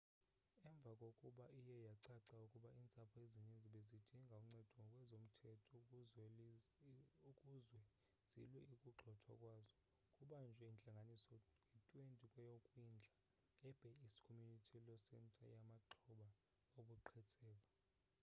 emva kokuba iye yacaca ukuba iintsapho ezininzi bezidinga uncedo ngokwezomthetho ukuzwe zilwe ukugxothwa kwazo kubanjwe intlanganiso nge-20 kweyokwindla e-bay east community law centeryamaxhoba obuqhetseba